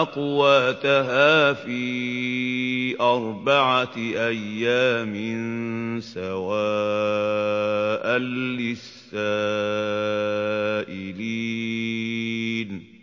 أَقْوَاتَهَا فِي أَرْبَعَةِ أَيَّامٍ سَوَاءً لِّلسَّائِلِينَ